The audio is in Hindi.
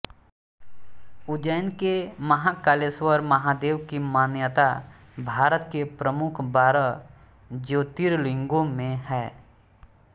उज्जैन के महाकालेश्वर महादेव की मान्यता भारत के प्रमुख बारह ज्योतिर्लिंगों में है